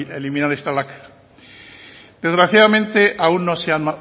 eliminar esta lacra desgraciadamente aún no se ha